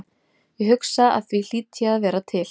Ég hugsa og því hlýt ég að vera til.